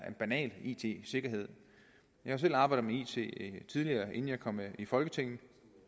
er banal it sikkerhed jeg har selv arbejdet med it tidligere inden jeg kom i folketinget